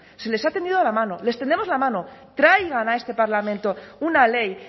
se les ha tendido la mano les tendemos la mano traigan a este parlamento una ley